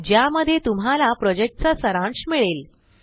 ज्यामध्ये तुम्हाला प्रॉजेक्टचा सारांश मिळेल